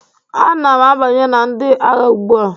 Ana m abanye na ndị agha ugbu a